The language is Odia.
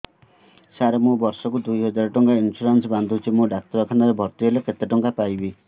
ସାର ମୁ ବର୍ଷ କୁ ଦୁଇ ହଜାର ଟଙ୍କା ଇନ୍ସୁରେନ୍ସ ବାନ୍ଧୁଛି ମୁ ଡାକ୍ତରଖାନା ରେ ଭର୍ତ୍ତିହେଲେ କେତେଟଙ୍କା ପାଇବି